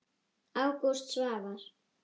Ágúst Svavar.